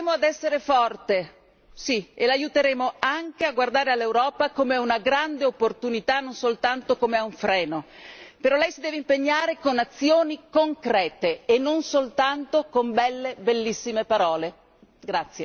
Noi l'aiuteremo ad essere forte, sì, e l'aiuteremo anche a guardare all'Europa come a una grande opportunità, non soltanto come a un freno Però lei si deve impegnare con azioni concrete e non soltanto con belle, bellissime parole.